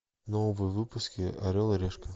новые выпуски орел и решка